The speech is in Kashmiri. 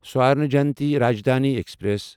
سورنا جینتی راجدھانی ایکسپریس